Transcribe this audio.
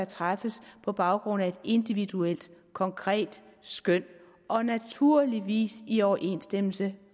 træffes på baggrund af et individuelt konkret skøn og naturligvis i overensstemmelse